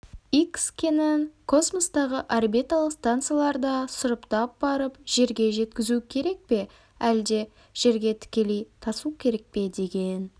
икс кенін космостағы орбиталық станцияларда сұрыптап барып жерге жеткізу керек пе әлде жерге тікелей тасу керек пе деген